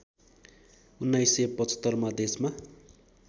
१९७५ मा देशमा